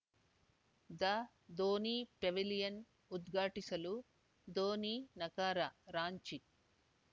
the Dhoni pavilion ಉದ್ಘಾಟಿಸಲು ಧೋನಿ ನಕಾರ ರಾಂಚಿ